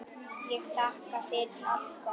Ég þakka fyrir allt gott.